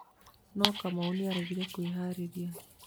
Nũ Kamau nĩaregire kwerĩheria